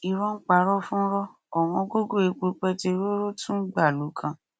irọ ń parọ fúnrọ ọwọn gógó epo pẹtirọrọ tún gbàlù kan